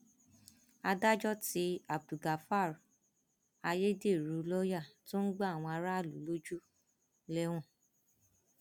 adájọ tí abdulgafar ayédèrú lọọyà tó ń gba àwọn aráàlú lójú lẹwọn